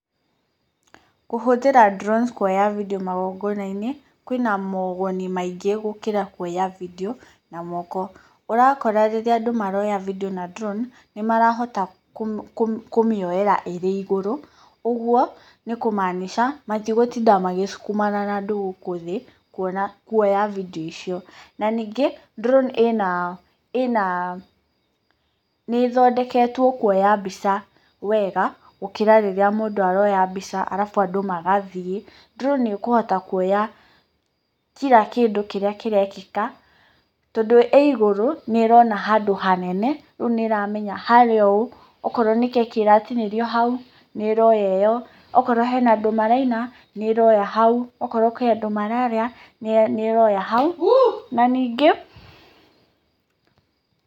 Kũhũthĩra drones kũoya vidiũ magogona-inĩ kwĩna mooguni maingĩ gũkĩra kwoya video na moko. Urakora rĩrĩa andũ maroya video na drone nĩmarahota kũmĩoeĩra ĩrĩ igũrũ. Ũguo nĩkũmaanica matigũtinda magĩsukumana na andũ gũkũ thĩ kũoya vidiũ icio. Na ningi drone ĩna, niĩthondeketwo kwoya mbica wega gũkĩra rĩrĩa mũndũ aroya mbica alafu andũ magathiĩ. Drone nĩũkũhota kwoya kira kĩndũ kĩrĩa kĩrekĩka tondũ ĩĩ igũrũ nĩĩrona handũ hanene, rĩu nĩĩramenya harĩa ũũ, okorwo nĩ keki ĩratinĩrio hau nĩĩroya ĩyo, okorwo hena andũ maraina nĩĩroya hau, okorwo kurĩ andũ mararĩa nĩĩroya hau. Na ningĩ...